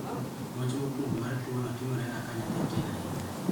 Monj mokuongo mar tuo no timore ga ka nyathi tin ahinya